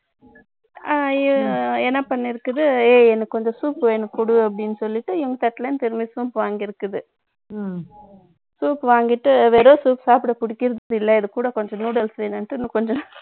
ஆ, என்ன பண்ணிருக்குது ஏய், எனக்கு கொஞ்சம் soup எனக்கு குடு அப்படின்னு சொல்லிட்டு, இவங்க தட்டுல இருந்து திரும்பி soap வாங்கி இருக்குது. ம்ம் ம்ம். Soup வாங்கிட்டு, வெறும் soup சாப்பிட பிடிக்கிறது இல்லை. இது கூட கொஞ்சம் noodles வேணும்னுட்டு, இன்னும் கொஞ்சம்